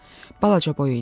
Balaca boy idi.